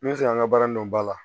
N bɛ se k'an ka baara in dɔn ba la